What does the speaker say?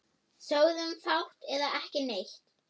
Sögðum fátt eða ekki neitt.